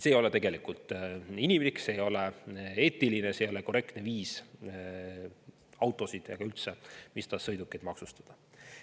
See ei ole tegelikult inimlik, see ei ole eetiline, see ei ole korrektne viis autosid ja üldse mis tahes sõidukeid maksustada.